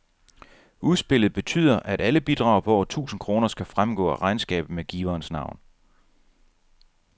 Udspillet betyder, at alle bidrag på over tusind kroner skal fremgå af regnskabet med giverens navn.